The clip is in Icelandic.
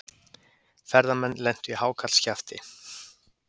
Ferðamenn lentu í hákarlskjafti